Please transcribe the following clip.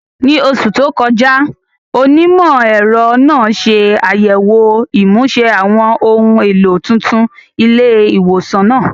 Ní oṣù tó kọjá, onímọ̀-ẹ̀rọ náà ṣe àyẹ̀wò ìmúṣe àwọn ohun èlò tuntun ilé ìwòsàn náà.